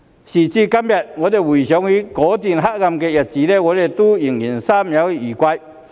時至今天，當我們回想起那段黑暗日子，心中仍猶有餘悸。